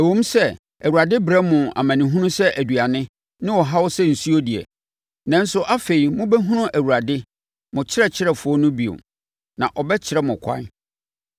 Ɛwom sɛ Awurade brɛ mo amanehunu sɛ aduane ne ɔhaw sɛ nsuo deɛ, nanso, afei mobɛhunu Awurade, mo ɔkyerɛkyerɛfoɔ no bio, na ɔbɛkyerɛ mo kwan.